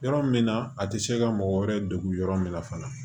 Yɔrɔ min na a tɛ se ka mɔgɔ wɛrɛ degu yɔrɔ min na fana